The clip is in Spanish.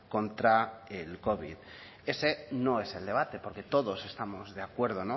contra el covid ese no es el debate porque todos estamos de acuerdo